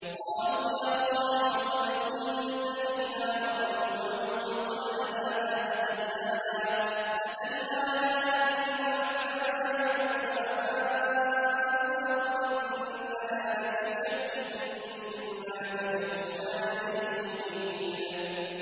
قَالُوا يَا صَالِحُ قَدْ كُنتَ فِينَا مَرْجُوًّا قَبْلَ هَٰذَا ۖ أَتَنْهَانَا أَن نَّعْبُدَ مَا يَعْبُدُ آبَاؤُنَا وَإِنَّنَا لَفِي شَكٍّ مِّمَّا تَدْعُونَا إِلَيْهِ مُرِيبٍ